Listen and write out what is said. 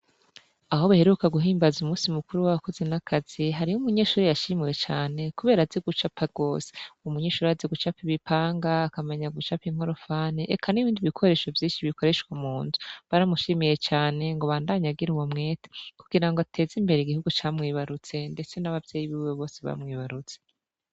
Aho baheruka guhimbaza umunsi mukuru wabakozi n'akazi hariho umunyeshure yashimiwe cane kubera azi gucapa gose, uwo munyeshure arazi gucapa imipanga akamenya gucapa inkorofani eka n'ibindi bikoresho vyinshi bikoreshwa munzu, baramushimiye cane ngo abandanye agira uwo mwete kugirango ateze imbere igihugu camwibarutse ndetse n'abavyeyi biwe bose bamwibarutse.